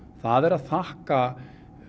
það er að þakka